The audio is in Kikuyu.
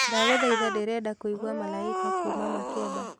ndagũthaĩtha ndĩrenda kũĩgwa malaika kũũma makeba